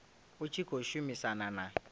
u tshi khou shumisana na